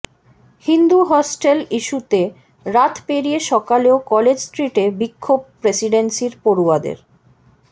Hindu hostel ইস্যুতে রাত পেড়িয়ে সকালেও কলেজ স্ট্রিটে বিক্ষোভ প্রেসিডেন্সির পড়ুয়াদের